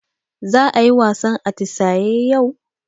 Za ayi wasan atisaye yau?